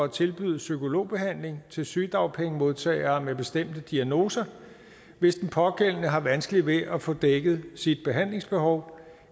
at tilbyde psykologbehandling til sygedagpengemodtagere med bestemte diagnoser hvis den pågældende har vanskeligt ved at få dækket sit behandlingsbehov